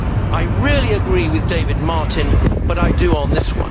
I rarely agree with David Martin but I do on this.